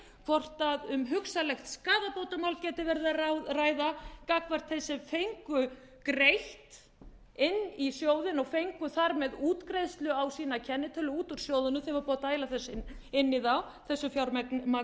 hvort um hugsanlegt skaðabótamál getur verið að ræða gagnvart þeim sem fengu greitt inn í sjóðinn og fengu þar með útgreiðslu á sína kennitölu út úr sjóðnum sem var búið að dæla þessu fjármagni inn